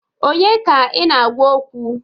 Onye ka ị na-agwa okwu?